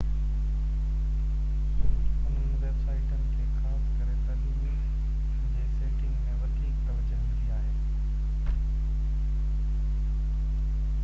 انهن ويب سائيٽن کي خاص ڪري تعليمي جي سيٽنگ ۾ وڌيڪ توجهہ ملي آهي